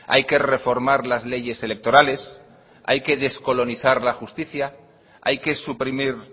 hay que reformar las leyes electorales hay que descolonizar la justicia hay que suprimir